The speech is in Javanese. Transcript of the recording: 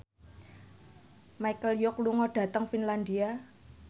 Michelle Yeoh lunga dhateng Finlandia